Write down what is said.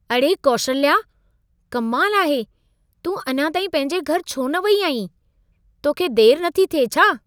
अड़े कैशल्या! कमाल आहे, तूं अञा ताईं पंहिंजे घरि छो न वई आहीं? तोखे देरि नथी थिए छा?